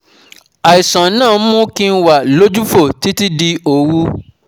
àìsàn náà ń mú kí n wà lójúfò títí di òru